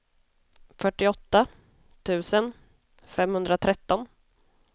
fyrtioåtta tusen femhundratretton